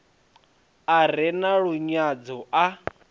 a re na lunyadzo a